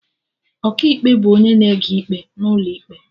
Ọkaikpe bụ onye na-ege ikpe n'ụlọ ikpe